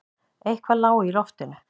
Eitthvað lá í loftinu.